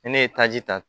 Ni ne ye taji ta